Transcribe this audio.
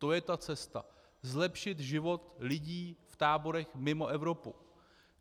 To je ta cesta - zlepšit život lidí v táborech mimo Evropu.